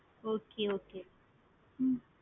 okay okay hmm